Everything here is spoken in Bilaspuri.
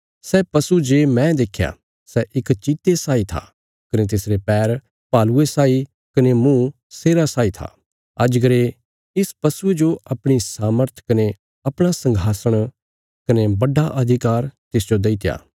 सै पशु जे मैं देख्या सै इक चीते साई था कने तिसरे पैर भालुये साई कने मुँह शेरा साई था अजगरे इस पशुये जो अपणी सामर्थ कने अपणा सघासण कने बड्डा अधिकार तिसजो देईत्या